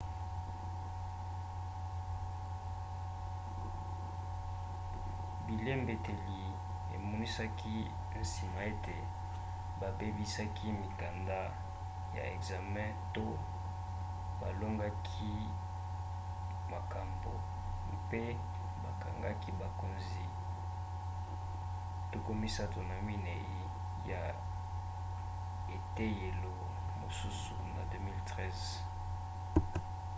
bilembeteli emonisaki nsima ete babebisaki mikanda ya ekzame to balongolaki makambo mpe bakangaki bakonzi 34 ya eteyelo mosusu na 2013